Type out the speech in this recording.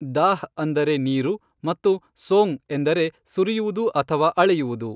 ದಾಃ ಅಂದರೆ ನೀರು ಮತ್ತು ಸೋಙ್ ಎಂದರೆ ಸುರಿಯುವುದು ಅಥವಾ ಅಳೆಯುವುದು.